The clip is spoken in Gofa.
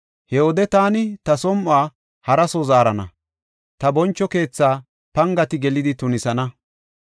He wode taani ta som7uwa hara soo zaarana; ta boncho keetha pangati gelidi tunisana.